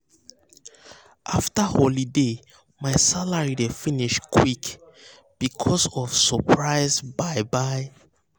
after holiday my salary dey finish quick um because of surprise um buy buy um